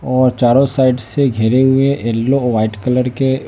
और चारों साइड से घिरे हुए येलो व्हाइट कलर के--